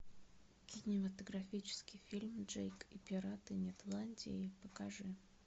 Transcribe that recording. кинематографический фильм джейк и пираты нетландии покажи